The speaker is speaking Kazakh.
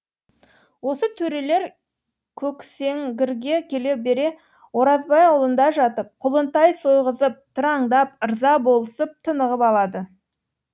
осы төрелер көксеңгірге келе бере оразбай аулында жатып құлынтай сойғызып тыраңдап ырза болысып тынығып алады